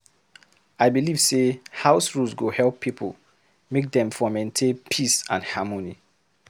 I believe sey house rules go help pipo make dem for maintain peace and harmony.